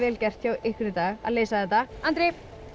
gert hjá ykkur í dag að leysa þetta Andri